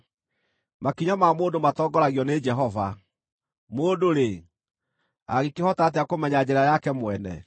Makinya ma mũndũ matongoragio nĩ Jehova. Mũndũ-rĩ, angĩkĩhota atĩa kũmenya njĩra yake mwene?